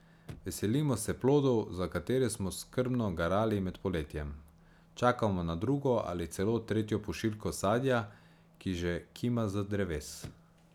Veselimo se plodov, za katere smo skrbno garali med poletjem, čakamo na drugo ali celo tretjo pošiljko sadja, ki že kima z dreves.